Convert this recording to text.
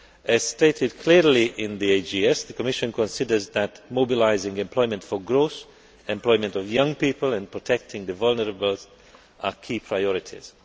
As stated clearly in the AGS, the Commission considers that mobilising employment for growth, employment of young people and protecting the vulnerable are key priorities.